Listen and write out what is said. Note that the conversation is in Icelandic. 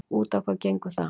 Út á hvað gengur það?